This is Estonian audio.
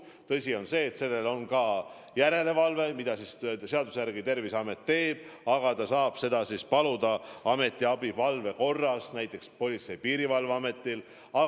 Tõsi on see, et selle üle on ka järelevalve, mida seaduse järgi teeb Terviseamet, aga ta saab paluda ametiabi korras teha seda näiteks Politsei- ja Piirivalveametil.